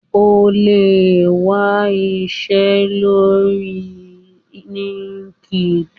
o le wa iṣẹ lori linkedin